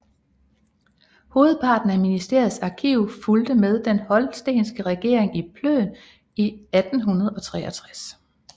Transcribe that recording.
Hovedparten af ministeriets arkiv fulgte med Den Holstenske Regering til Plön i 1863